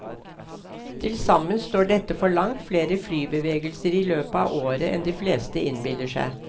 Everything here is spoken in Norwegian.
Til sammen står dette for langt flere flybevegelser i løpet av året enn de fleste innbiller seg.